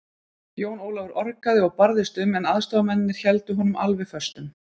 Jón Ólafur orgaði og barðist um, en aðstoðarmennirnir héldu honum alveg föstum.